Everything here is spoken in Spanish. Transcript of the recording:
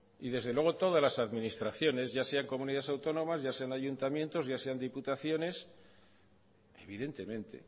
y desde luego todas las administraciones ya sean comunidades autónomas ya sean ayuntamientos ya sean diputaciones evidentemente